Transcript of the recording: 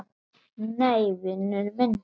Nei, vinur minn!